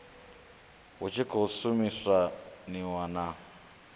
hu tshi khou shumisaniwa na